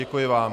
Děkuji vám.